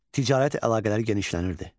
Ticarət əlaqələri genişlənirdi.